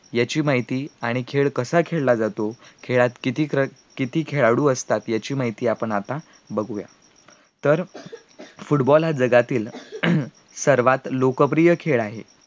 याची माहिती आणि खेळ कसा खेळला जातो खेळात किती किती खेळाळू असतात याची माहिती आता आपण बगु तर football हा जगातील सर्वात लोकप्रिय खेळ आहे